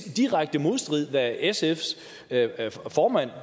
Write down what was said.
i direkte modstrid med hvad sfs formand